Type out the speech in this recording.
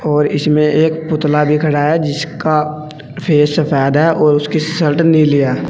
और इसमें एक पुतला भी खड़ा है जिसका फेस सफेद है और उसकी सल्ट नीली है।